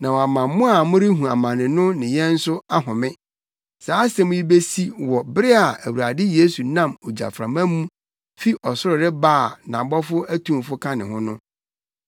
na wama mo a morehu amane no ne yɛn nso ahome. Saa asɛm yi besi wɔ bere a Awurade Yesu nam ogyaframa mu fi ɔsoro reba a nʼabɔfo atumfo ka ne ho no,